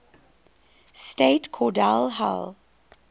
state cordell hull